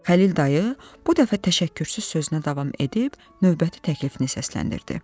Xəlil dayı bu dəfə təşəkkürsüz sözünə davam edib, növbəti təklifini səsləndirdi.